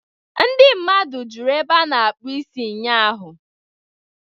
Ndi mmadụ juru ebe a na-akpụ isi ụnyaahụ.